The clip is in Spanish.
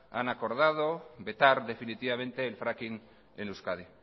han acordado vetar definitivamente el fracking en euskadi